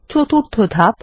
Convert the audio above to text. চতুর্থ ধাপ